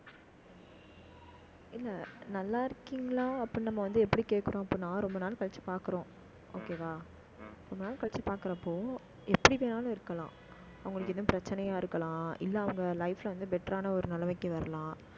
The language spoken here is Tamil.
இல்லை, நல்லா இருக்கீங்களா அப்படின்னு நம்ம வந்து, எப்படி கேட்கிறோம் அப்ப, நான் ரொம்ப நாள் கழிச்சு பார்க்கிறோம். okay வா ரொம்ப நாள் கழிச்சு பார்க்கிறப்போ, எப்படி வேணாலும் இருக்கலாம். அவங்களுக்கு, இன்னும் பிரச்சனையா இருக்கலாம். இல்லை, அவங்க life ல வந்து, better ஆன ஒரு நிலைமைக்கு வரலாம்